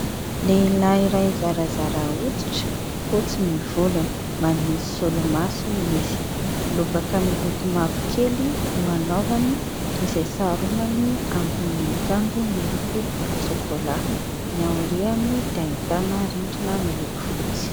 lehilahy ray zarazara oditra fotsy ny volony mbanisolomaso izy lobaka miloko mavokely no hanaovany izay saharombany ambonin'ny kanjo miloko volotsokolahy ny aorehany diaitana rindrina miloko fotsy